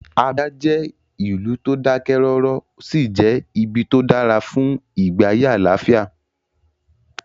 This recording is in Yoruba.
Abia jẹ́ ìlú tó dákẹ́ rọ́rọ́, ó sì jẹ́ ibi tó dára fún ìgbé ayé àlàáfíà